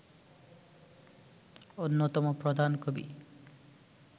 অন্যতম প্রধান কবি